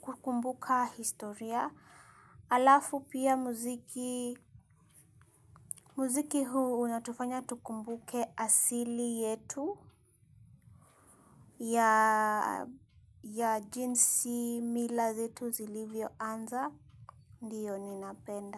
Kukumbuka historia. Alafu pia muziki. Mziki huu unatufanya tukumbuke asili yetu. Ya jinsi mila zetu zilivyoanza. Dio ninapenda.